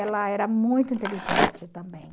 Ela era muito inteligente também.